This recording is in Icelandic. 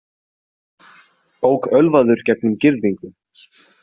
Ók ölvaður gegnum girðingu